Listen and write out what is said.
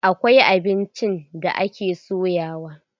Akwai abincin da ake soyawa.